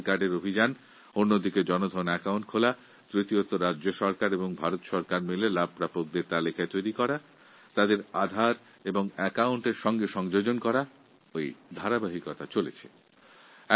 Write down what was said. প্রথমত আধার কার্ডের প্রচলন দ্বিতীয়ত ব্যাংকে জনধন অ্যাকাউন্ট খোলানো তৃতীয়ত কেন্দ্রিয় সরকার ও রাজ্য সরকারগুলির যৌথ উদ্যোগে উপকৃতদের তালিকা তৈরি করে তা ব্যক্তিবিশেষের আধার কার্ড এবং ব্যাংক অ্যাকাউন্টের সঙ্গে সংযুক্তিকরণের প্রক্রিয়া চলছে